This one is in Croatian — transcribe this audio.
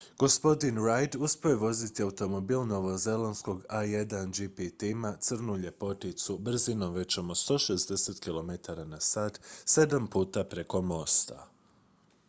gospodin reid uspio je voziti automobil novozelandskog a1gp tima crnu ljepoticu brzinom većom od 160 km/h sedam puta preko mosta